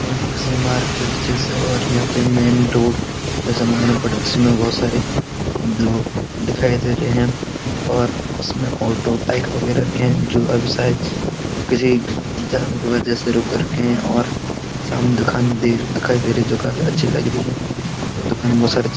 यहां पे किसी मार्केट जैसा और यहां पे मेन रोड जैसा मालूम पड़ जिसमें बहुत सारे दिखाई दे रहे है और इसमे ऑटो बाईक बगैरह भी है जो अभी शायद किसी जाम की वजह से रुक रखे हैं और सामने दुकान दिखाई दे रही है जो काफी अच्‍छी लग रही हैं और दुकान में बहुत सारे --